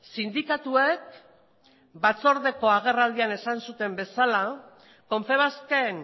sindikatuek batzordeko agerraldian esan zuten bezala confebasken